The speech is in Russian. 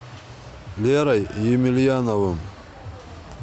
лерой емельяновым